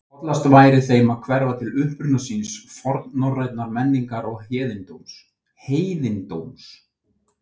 Hollast væri þeim að hverfa til uppruna síns, fornnorrænnar menningar og heiðindóms.